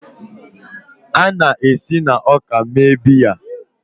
A na-esi na ọka mee biya.